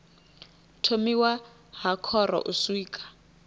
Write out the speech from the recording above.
thomiwa ha khoro u swika